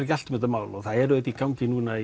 ekki allt um þetta mál og það er auðvitað í gangi núna